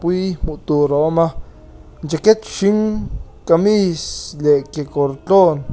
hmuh tur a awma jacket hring kamis leh kekawr tlawn--